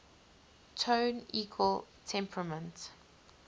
tone equal temperament